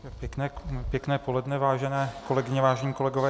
Pěkné poledne, vážené kolegyně, vážení kolegové.